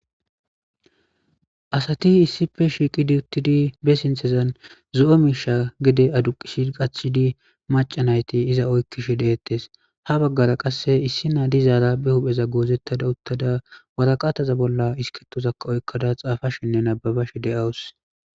Asati issippe shiqqidi uuttidii zo'o miishsha gedde adduqisidi qachchidii maca naytti iza oykishe de'ettes ha baggara qase issi na dizara be huphpheza goozetadda uuttada waraqataza bolla iskirittozakka oyqqada xaafashenne nababbashe de'awus.